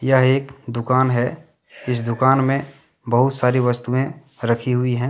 यह एक दुकान है इस दुकान में बहुत सारी वस्तुएं रखी हुई है।